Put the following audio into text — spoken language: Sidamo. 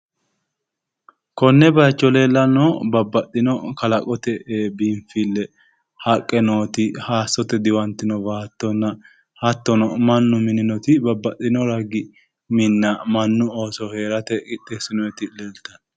Konne bayicho leellannohu babbaxxino kalaqote biinfille haqqe nooti hayissote diwantinotinna baattonna hattono mannu mininoti babbaxxino ragi minna mannu Ooso hee'rate qixxeessinoti leeltawo.